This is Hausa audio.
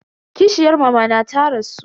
Kishiyar mamana ta rasu.